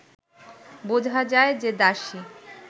বোঝা যায় যে দাসী